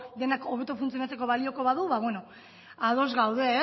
denak hobeto funtzionatzeko balioko badu ados gaude